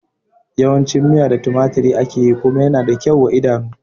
Yawan cin miya da tumaturi ake yi kuma yana da kyau wa idanu